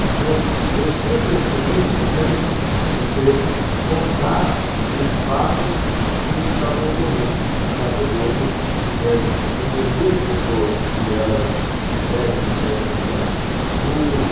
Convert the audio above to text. Então, eu sempre achei muito importante você contar os fatos que estavam ocorrendo, né, para podermos convencer as pessoas que elas devem devem ajudar, ú